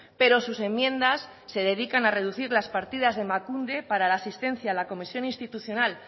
pero sus enmiendas se dedican a reducir las partidas de emakunde para la asistencia a la comisión institucional